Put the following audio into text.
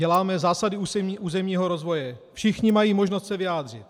Děláme zásady územního rozvoje, všichni mají možnost se vyjádřit.